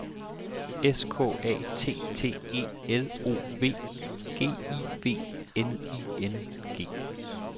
S K A T T E L O V G I V N I N G